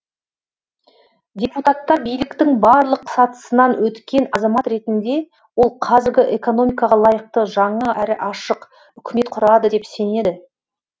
депутаттар биліктің барлық сатысынан өткен азамат ретінде ол қазіргі экономикаға лайықты жаңа әрі ашық үкімет құрады деп сенеді